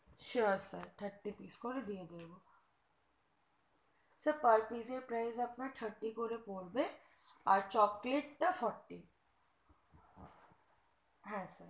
sure sir thirty pice করে দিয়ে দেব sir per pice এর price আপনার thirty করে পড়বে আর chocolate টা forty হা